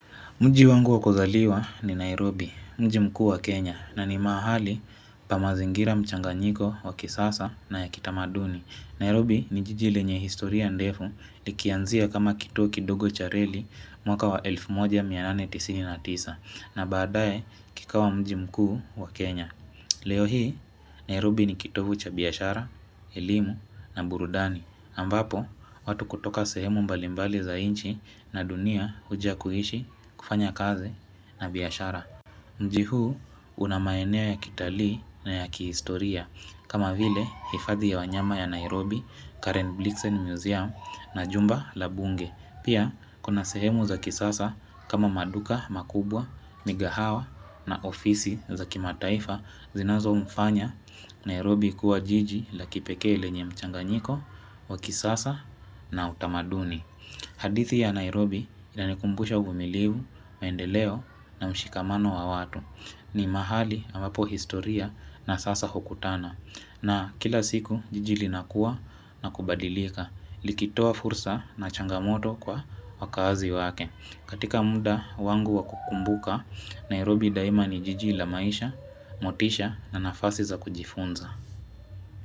Mji wangu wa kuzaliwa ni Nairobi, mji mkuu wa Kenya na ni maahali pa mazingira mchanganyiko wa kisasa na ya kitamaduni. Nairobi ni jiji lenye historia ndefu likianzia kama kituo kidogo cha relli mwaka wa 1899 na baadae kikawa mji mkuu wa Kenya. Leo hii Nairobi ni kitovu cha biyashara, elimu na burudani ambapo watu kutoka sehemu mbalimbali za nchi na dunia huja kuishi kufanya kazi na biashara Mji huu unamaeneo ya kitalii na ya kihistoria kama vile hifadhi ya wanyama ya Nairobi, Karen Blixen Museum na jumba la Bunge. Pia kuna sehemu za kisasa kama maduka makubwa, migahawa na ofisi za kimataifa zinazomfanya Nairobi kuwa jiji la kipekee lenye mchanganyiko wa kisasa na utamaduni. Hadithi ya Nairobi inanikumbusha uvumilivu, maendeleo na mshikamano wa watu. Ni mahali amapo historia na sasa hukutana. Na kila siku jiji linakuwa na kubadilika, likitoa fursa na changamoto kwa wakaazi wake. Katika mda wangu wa kukumbuka, Nairobi daima ni jiji la maisha, motisha na nafasi za kujifunza.